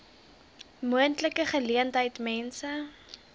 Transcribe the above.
moontlike geleentheid mense